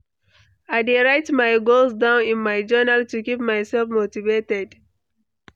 I dey write my goals down in my journal to keep myself motivated.